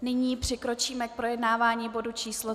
Nyní přikročíme k projednávání bodu číslo